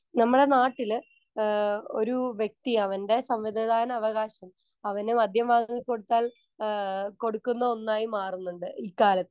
Speaker 1 നമ്മളെ നാട്ടില് ആഹ് ഒരു വ്യക്തിയവൻ്റെ സമ്മതിദാനവകാശം അവനു മദ്യം വാങ്ങിക്കൊടുത്താൽ ആഹ് കൊടുക്കുന്ന ഒന്നായി മാറുന്നുണ്ട് ഇക്കാലത്ത്.